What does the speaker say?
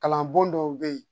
Kalan bon dɔw bɛ yen